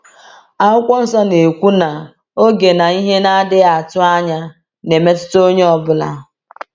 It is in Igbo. Akwụkwọ Nsọ na-ekwu na “oge na ihe na-adịghị atụ anya” na-emetụta onye ọ bụla.